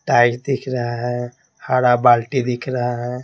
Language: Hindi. टाइ दिख रहा है हरा बाल्टी दिख रहा है।